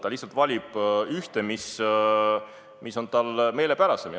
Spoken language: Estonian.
Ta lihtsalt valib ühe, mis on talle meelepärasem.